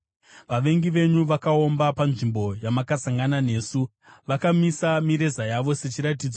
Vavengi venyu vakaomba panzvimbo yamakasangana nesu; vakamisa mireza yavo sechiratidzo.